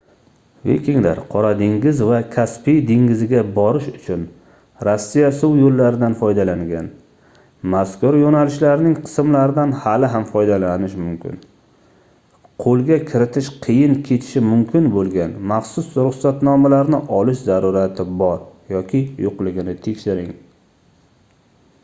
vikinglar qora dengiz va kaspiy dengiziga borish uchun rossiya suv yoʻllaridan foydalangan mazkur yoʻnalishlarning qismlaridan hali ham foydalanish mumkin qoʻlga kiritish qiyin kechishi mumkin boʻlgan maxsus ruxsatnomalarni olish zarurati bor yoki yoʻqligini tekshiring